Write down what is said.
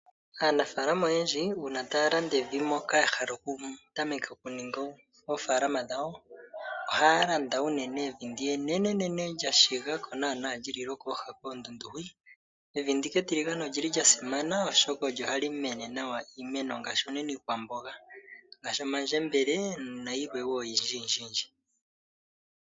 Aanafaalama oyendji uuna taa landa evi, moka ya hala okutameka okuninga oofaalama dhawo, ohaya landa unene evi ndi enenenene lya shiga ko naana li li lwokooha koondundu hwi. Evi ndika etiligane oli li lya simana oshoka olyo hali mene nawa iimeno, ngaashi unene iikwamboga ngaashi omandjembele nayilwe wo oyindjiyindji.